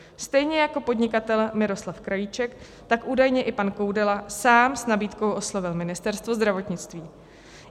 Stejně jako podnikatel Miroslav Krajíček, tak údajně i pan Koudela sám s nabídkou oslovil Ministerstvo zdravotnictví.